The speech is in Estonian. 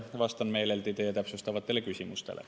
Vastan meeleldi teie täpsustavatele küsimustele.